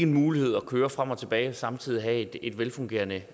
mulighed at køre frem og tilbage og samtidig have et velfungerende